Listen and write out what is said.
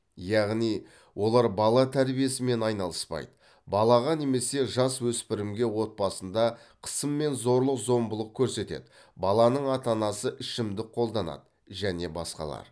яғни олар бала тәрбиесімен айналыспайды балаға немесе жасөспірімге отбасында қысым мен зорлық зомбылық көрсетеді баланың ата анасы ішімдік қолданады және басқалар